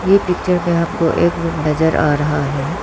ये पिक्चर में हमको एक रूम नजर आ रहा है।